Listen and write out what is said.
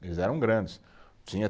Eles eram grandes, tinha